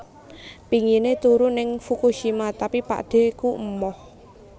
Pingine turu ning Fukushima tapi pakdheku emoh